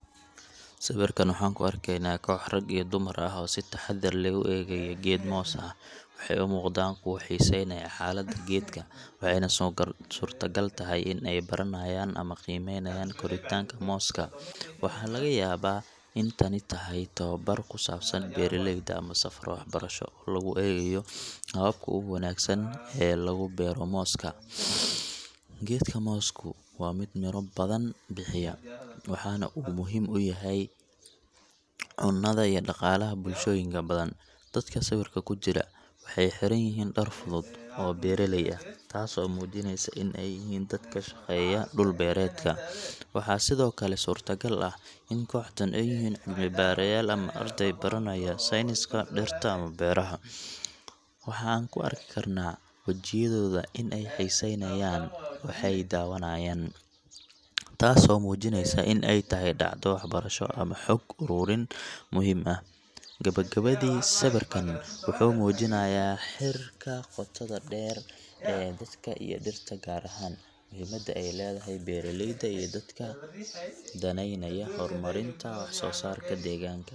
Sawirkan waxaan ku arkaynaa koox rag iyo dumar ah oo si taxadar leh u eegaya geed moos ah. Waxay u muuqdaan kuwo xiiseynaya xaaladda geedka, waxayna suurtagal tahay in ay baranayaan ama qiimeynayaan koritaanka mooska. Waxaa laga yaabaa in tani tahay tababar ku saabsan beeralayda ama safar waxbarasho oo lagu eegayo hababka ugu wanaagsan ee lagu beero mooska. Geedka moosku waa mid miro badan bixiya, waxana uu muhiim u yahay cunnada iyo dhaqaalaha bulshooyinka badan. Dadka sawirka ku jira waxay xiran yihiin dhar fudud oo beeraley ah, taasoo muujinaysa in ay yihiin dad ka shaqeeya dhul-beereedka. Waxaa sidoo kale surtaagal ah in kooxdan ay yihiin cilmi-baarayaal ama arday baranaya sayniska dhirta ama beeraha. Waxa aan ku arki karnaa wejiyadooda in ay xiiseynayaan waxay daawanayaan, taasoo muujinaysa in ay tahay dhacdo waxbarasho ama xog ururin muhiim ah. Gebagabadii, sawirkan wuxuu muujinayaa xiriirka qotoda dheer ee dadka iyo dhirta, gaar ahaan muhiimadda ay leedahay beeraleyda iyo dadka danaynaya horumarinta wax-soosaarka deegaanka.